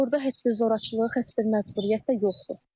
Burda heç bir zorakılıq, heç bir məcburiyyət də yoxdur.